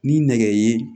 Ni nɛgɛ ye